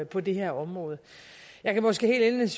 på det her område jeg kan måske helt